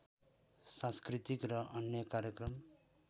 सांस्कृतिक र अन्य कार्यक्रम